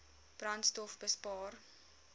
brandstofbespaar